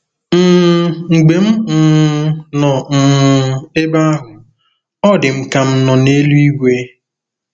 um Mgbe m um nọ um ebe ahụ, ọ dị m ka m nọ n’eluigwe. ”